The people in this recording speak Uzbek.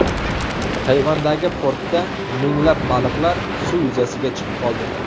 Tayvandagi portda minglab baliqlar suv yuzasiga chiqib qoldi.